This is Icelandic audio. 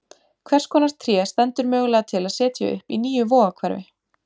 Hvers konar tré stendur mögulega til að setja upp í nýju Vogahverfi?